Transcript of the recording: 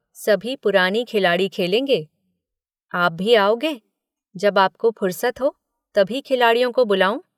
सभी पुराने खिलाड़ी खेलेंगे, आप भी आओगे जब आपको फुरसत हो तभी खिलाड़ियों को बुलाऊँ।